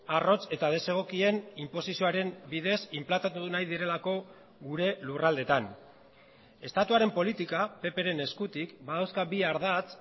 arrotz eta desegokien inposizioaren bidez inplantatu nahi direlako gure lurraldetan estatuaren politika ppren eskutik badauzka bi ardatz